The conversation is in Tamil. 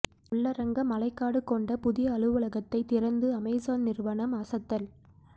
உள்ளரங்க மழைக்காடு கொண்ட புதிய அலுவலகத்தை திறந்து அமேசான் நிறுவனம் அசத்தல்